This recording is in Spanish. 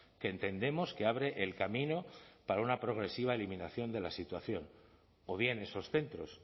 que entendemos que abre el camino para una progresiva eliminación de la situación o bien esos centros